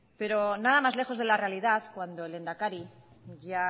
pero nada más lejos de la realidad cuando el lehendakari ya